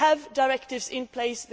we have directives in